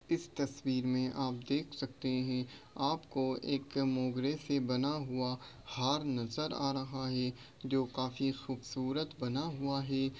इस तस्वीर मे आप देख सकते है आपको एक मोगरे से बना हुआ हार नज़र आ रहा है जो काफ़ी खूबसूरत बना हुआ है।